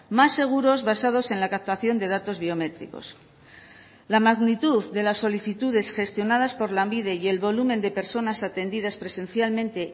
más seguros basados en la captación de datos biométricos la magnitud de las solicitudes gestionadas por lanbide y el volumen de personas atendidas presencialmente